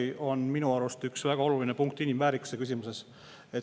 See on minu arust üks väga oluline inimväärikuse küsimus.